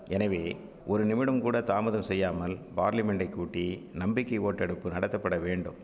எனவே ஒரு நிமிடம்கூட தாமதம் செய்யாமல் பார்லிமென்டை கூட்டி நம்பிக்கை ஓட்டெடுப்பு நடத்தப்பட வேண்டும்